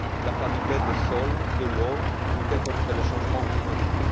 la qualité des sols, de l'eau, lutter contre le changement climatique.